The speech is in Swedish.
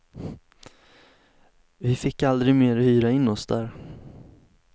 Vi fick aldrig mer hyra in oss där.